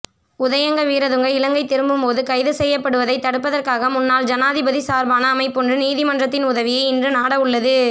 உதயங்க வீரதுங்க இலங்கை திரும்பும்போது கைது செய்யப்படுவதை தடுப்பதற்காக முன்னாள் ஜனாதிபதி சார்பான அமைப்பொன்று நீதிமன்றத்தின் உதவியை இன்று நாடவுள்ளது